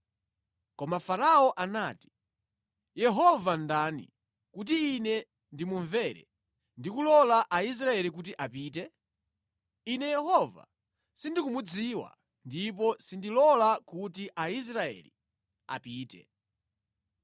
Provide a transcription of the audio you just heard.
Koma Farao anati, “Yehova ndani kuti ine ndimumvere ndi kulola Aisraeli kuti apite? Ine Yehova sindikumudziwa ndipo sindilola kuti Aisraeli apite.”